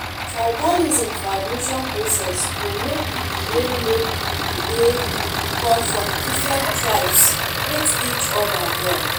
tribalism for admission process go make pipo wey make pipo wey come from different tribes hate each oda more